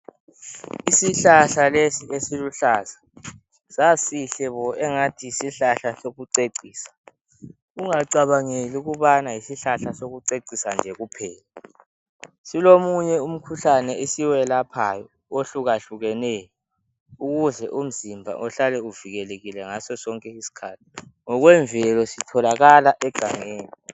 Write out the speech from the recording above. Isihlahla lesi esiluhlaza sasihle bo engathi yisihlahla esokucecisa. Ungacabangeli ukubana yisihlahla esokucecisa nje kuphela silomunye umkhuhlane esiwelaphayo ohlukahlukeneyo ukuze umzimba uhlale uvikelekile ngaso sonke isikhathi. Ngokwemvelo sitholakala egangeni.